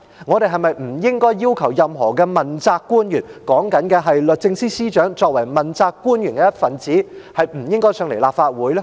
我們是否不應該要求任何問責官員——我是指律政司司長作為問責官員的一分子——不應該前來立法會？